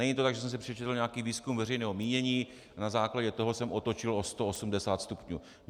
Není to tak, že jsem si přečetl nějaký výzkum veřejného mínění a na základě toho jsem otočil o 180 stupňů.